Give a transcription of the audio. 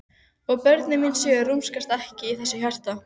Og börnin mín sjö rúmast ekki í þessu hjarta.